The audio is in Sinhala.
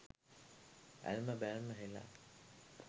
ඇල්ම බැල්ම හෙළා